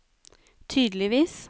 tydeligvis